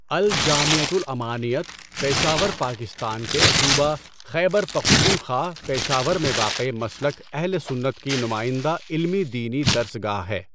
الجامعۃُ الامانِیّۃ پشاور پاکستان کے صوبہ خیبر پختونخوا، پشاور میں واقع مسلک اہل سنت کی نمائندہ علمی دینی درس گاہ ہے۔